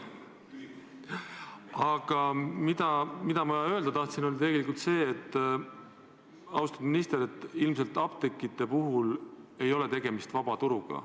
Aga tegelikult ma tahan öelda, austatud minister, et ilmselt apteekide puhul ei ole tegemist vabaturuga.